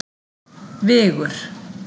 Vigur